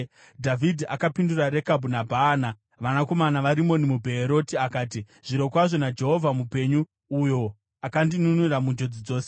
Dhavhidhi akapindura Rekabhu naBhaana, vanakomana vaRimoni muBheeroti akati, “Zvirokwazvo naJehovha mupenyu, uyo akandinunura munjodzi dzose,